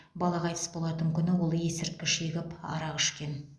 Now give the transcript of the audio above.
бала қайтыс болатын күні ол есірткі шегіп арақ ішкен